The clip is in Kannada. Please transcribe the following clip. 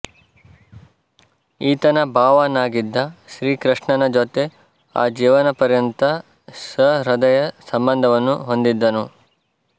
ಈತನ ಭಾವನಾಗಿದ್ದ ಶ್ರೀಕೃಷ್ಣನ ಜೊತೆ ಆ ಜೀವನ ಪರ್ಯಂತ ಸಹೃದಯ ಸಂಬಂಧವನ್ನು ಹೊಂದಿದ್ದನು